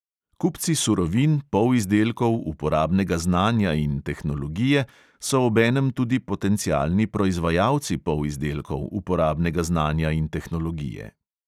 Kupci surovin, polizdelkov, uporabnega znanja in tehnologije so obenem tudi potencialni proizvajalci polizdelkov, uporabnega znanja in tehnologije.